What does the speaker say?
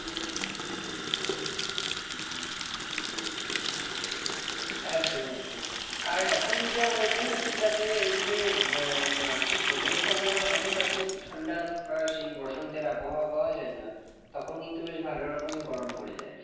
একদম একদম। আর এখন যা weather হয়েছে তাতে এই যে আহ মার্চে দোলের সময়ও অতটা কিন্তু ঠান্ডা আমরা সেই বসন্তের আবহাওয়া পাওয়া যায় না। তখন কিন্তু বেশ ভালোরকমই গরম পরে যায়।